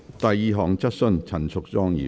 第二項質詢。